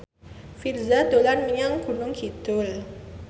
Virzha dolan menyang Gunung Kidul